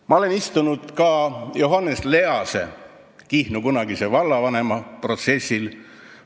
Ma olen istunud ka Johannes Lease, Kihnu kunagise vallavanema protsessil.